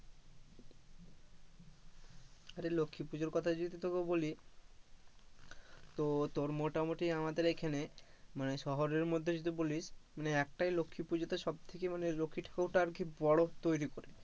আরে লক্ষ্মী পুজোর কথা যদি তোকে বলি তো তোর মোটা মটি আমাদের এখানে মানে শহরের মধ্যে যদি বলি মানে একটাই লক্ষী পূজো সবথেকে মানে লক্ষ্মী ঠাকুরটা আর কি বড় তৈরি করে,